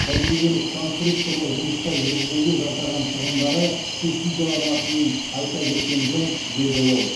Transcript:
тәжірибелік конструкторлық жұмыстар жүргізуге жұмсаған шығындары субсидияланатынын айта кеткен жөн деді ол